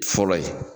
Fɔlɔ ye